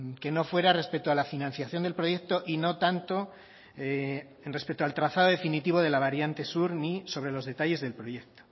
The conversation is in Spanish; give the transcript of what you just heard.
que no fuera respecto a la financiación del proyecto y no tanto respecto al trazado definitivo de la variante sur ni sobre los detalles del proyecto